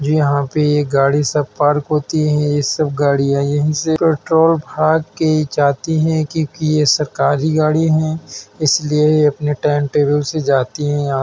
जो यहाँ पे ये गाड़ी सब पार्क होतीं हैं। ये सब गाड़ीयाँ यहीं से पेट्रोल भार के जातीं हैं। क्योकि यह सरकारी गाड़ी हैं। इसलिए यह अपने टाइम टेबल से जाती हैं आतीं --